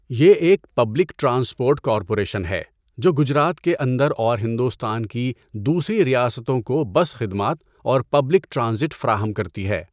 یہ ایک public transport corporation ہے جو گجرات کے اندر اور ہندوستان کی دوسری ریاستوں کو بس خدمات اور پبلک ٹرانزٹ فراہم کرتی ہے۔